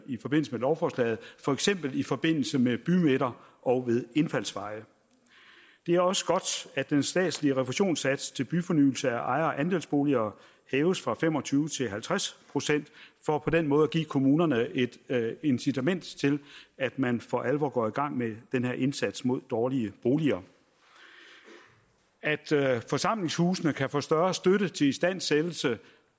i forbindelse med lovforslaget for eksempel i forbindelse med bymidter og ved indfaldsveje det er også godt at den statslige refusionssats til byfornyelse af ejer og andelsboliger hæves fra fem og tyve til halvtreds procent for den måde at give kommunerne et incitament til at man for alvor går i gang med den her indsats mod dårlige boliger at forsamlingshusene kan få større støtte til istandsættelse